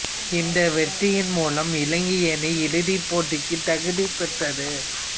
இந்த வெற்றியின் மூலம் இலங்கை அணி இறுதிப் போட்டிக்குத் தகுதிபெற்றது